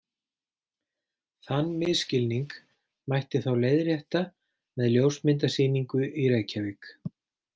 Þann misskilning mætti þá leiðrétta með ljósmyndasýningu í Reykjavík.